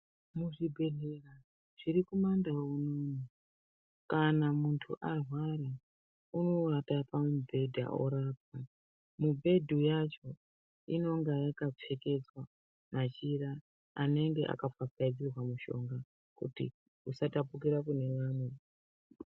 Muzvibhedhlera zvirikumandau unono kana muntu arwara unowata pamubhedha orapwa mubhedha yacha unonga wakapfekedzwa machira anenge akapfapfaidzirwa mishonga kuti usatapukira kunevamwe.